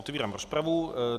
Otevírám rozpravu.